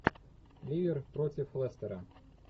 ливер против лестера